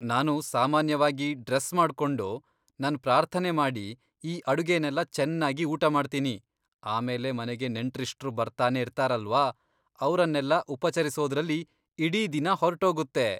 ನಾನು ಸಾಮಾನ್ಯವಾಗಿ ಡ್ರೆಸ್ ಮಾಡ್ಕೊಂಡು, ನನ್ ಪ್ರಾರ್ಥನೆ ಮಾಡಿ, ಈ ಅಡುಗೆನೆಲ್ಲ ಚೆನ್ನಾಗಿ ಊಟ ಮಾಡ್ತೀನಿ, ಆಮೇಲೆ ಮನೆಗೆ ನೆಂಟ್ರಿಷ್ಟ್ರು ಬರ್ತಾನೆ ಇರ್ತಾರಲ್ವ, ಅವ್ರನ್ನೆಲ್ಲ ಉಪಚರಿಸೋದ್ರಲ್ಲಿ ಇಡೀ ದಿನ ಹೊರ್ಟೋಗುತ್ತೆ.